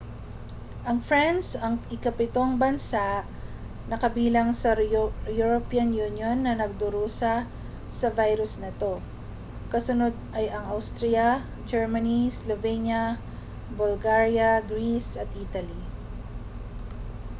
ang france ang ikapitong bansa na kabilang sa european union na nagdurusa sa virus na ito kasunod ay ang austria germany slovenia bulgaria greece at italy